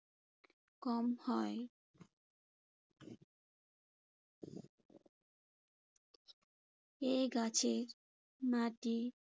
কম হয়। এ গাছের মাটি